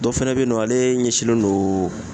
Dɔ fɛnɛ be yen nɔ ale ɲɛsinnen don